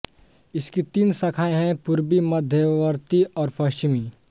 इसकी तीन शाखाएँ हैं पूर्वी मध्यवर्ती और पश्चिमी